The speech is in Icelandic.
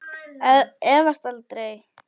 Efast aldrei.